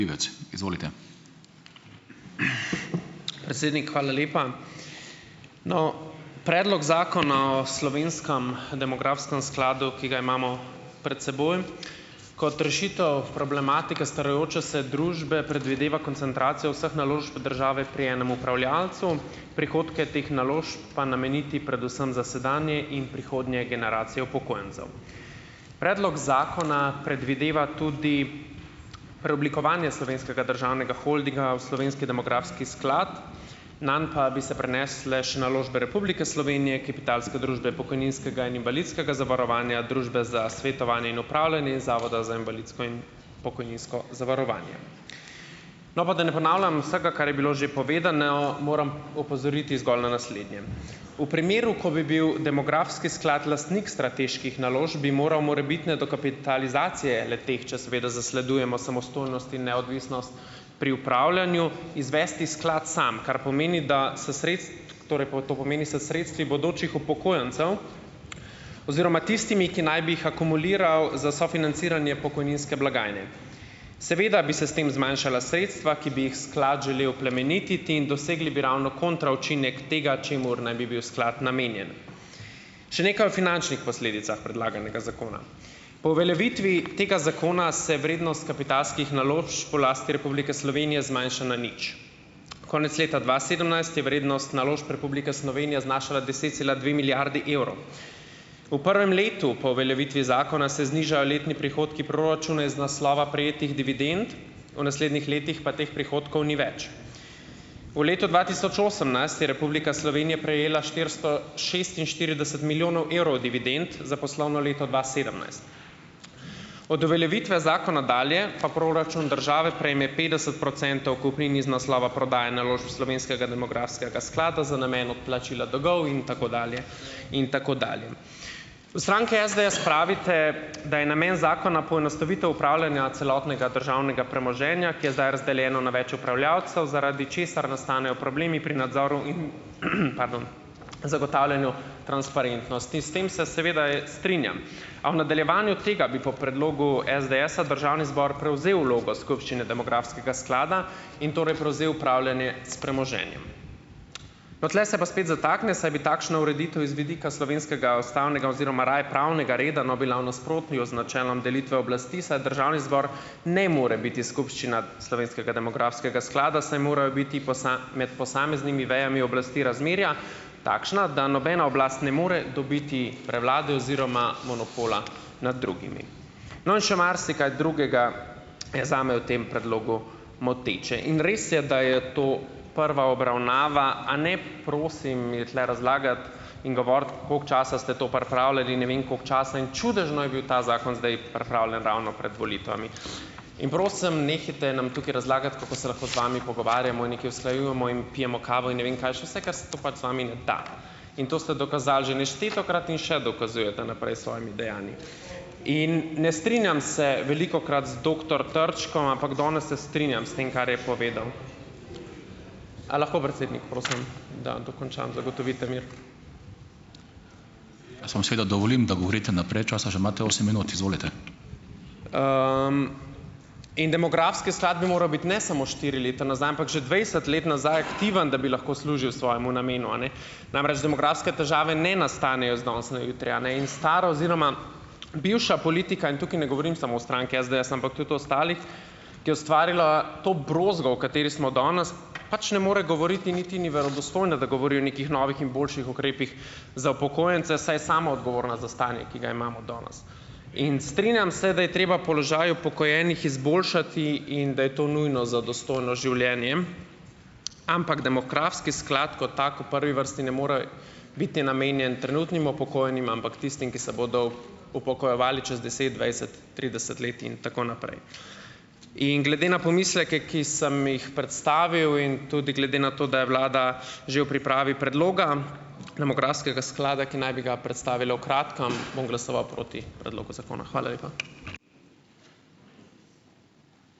Predsednik, hvala lepa. No, predlog zakona o slovenskem demografskem skladu, ki ga imamo pred seboj, kot rešitev problematike starajoče se družbe predvideva koncentracijo vseh naložb države pri enem upravljavcu, prihodke teh naložb pa nameniti predvsem za sedanje in prihodnje generacije upokojencev. Predlog zakona predvideva tudi, preoblikovanje Slovenskega državnega holdinga v slovenski demografski sklad, nanj pa bi se prenesle še naložbe Republike Slovenije, kapitalske družbe pokojninskega in invalidskega zavarovanja, Družbe za svetovanje in upravljanje in Zavoda za invalidsko in pokojninsko zavarovanje. No, pa da ne ponavljam vsega, kar je bilo že povedano, moram opozoriti zgolj na naslednje. V primeru, ko bi bil demografski sklad lastnik strateških naložb, bi moral morebitne dokapitalizacije le-teh, če seveda zasledujemo samostojnost in neodvisnost pri upravljanju, izvesti sklad sam, kar pomeni, da, s torej to pomeni s sredstvi bodočih upokojencev oziroma tistimi, ki naj bi jih akumuliral za sofinanciranje pokojninske blagajne. Seveda bi se s tem zmanjšala sredstva, ki bi jih sklad želel plemenititi, in dosegli bi ravno "kontra" učinek tega, čemur naj bi bil sklad namenjen. Še nekaj o finančnih posledicah predlaganega zakona. Po uveljavitvi tega zakona, se vrednost kapitalskih naložb v lasti Republike Slovenije zmanjša na nič. Konec leta dva sedemnajst je vrednost naložb Republike Slovenije znašala deset cela dve milijardi evrov. V prvem letu po uveljavitvi zakona se znižajo letni prihodki proračuna iz naslova prejetih dividend, v naslednjih letih pa teh prihodkov ni več. V letu dva tisoč osemnajst je Republika Slovenija prejela štiristo šestinštirideset milijonov evrov dividend za poslovno leto dva sedemnajst. Od uveljavitve zakona dalje pa proračun države prejme petdeset procentov kupnin iz naslova prodaje naložb slovenskega demografskega sklada za namen odplačila dolgov in tako dalje in tako dalje. V stranki SDS pravite, da je namen zakona poenostavitev upravljanja celotnega državnega premoženja, ki je zdaj razdeljeno na več upravljavcev, zaradi česar nastanejo problemi pri nadzoru in zagotavljanju transparentnosti. S tem se seveda, strinjam, a v nadaljevanju tega bi po predlogu SDS-a državni zbor prevzel vlogo skupščine demografskega sklada in torej prevzel upravljanje s premoženjem. No, tule se pa spet zatakne, saj bi takšna ureditev iz vidika slovenskega ustavnega oziroma raje pravnega reda, no, bila v nasprotju z načelom delitve oblasti, saj državni zbor ne more biti skupščina slovenskega demografskega sklada, saj morajo biti med posameznimi vejami oblasti razmerja takšna, da nobena oblast ne more dobiti prevlade oziroma monopola nad drugimi. No, in še marsikaj drugega, je zame v tem predlogu moteče in res je, da je to prva obravnava, a ne prosim mi tule razlagati in govoriti, koliko časa ste to pripravljali in ne vem koliko časa in čudežno je bil ta zakon zdaj pripravljen ravno pred volitvami, in prosim, nehajte nam tukaj razlagati, kako se lahko z vami pogovarjamo in nekaj usklajujemo in pijemo kavo in ne vem kaj še vse, ker se to pač z vami ne da, in to ste dokazali že neštetokrat in še dokazujete naprej s svojimi dejanji. In ne strinjam se velikokrat z doktor Trčkom, ampak danes se strinjam s tem, kar je povedal. In demografski sklad bi moral biti ne samo štiri leta nazaj, ampak že dvajset let nazaj aktiven, da bi lahko služil svojemu namenu, a ne? Namreč, demografske težave ne nastanejo z danes na jutri, a ne, in stara oziroma bivša politika - in tukaj ne govorim samo o stranki SDS, ampak tudi o ostalih - ki je ustvarila to brozgo, v kateri smo danes, pač ne more govoriti in niti ni verodostojna, da govori o nekih novih in boljših ukrepih za upokojence, saj je sama odgovorna za stanje, ki ga imamo danes, in strinjam se, da je treba položaj upokojenih izboljšati in da je to nujno za dostojno življenje, ampak demografski sklad kot tak, v prvi vrsti ne more biti namenjen trenutnim upokojenim, ampak tistim, ki se bodo upokojevali čez deset, dvajset, trideset let in tako naprej. In glede na pomisleke, ki sem jih predstavil, in tudi glede na to, da je vlada že v pripravi predloga demografskega sklada, ki naj bi ga predstavila v kratkem, bom glasoval proti predlogu zakona. Hvala lepa.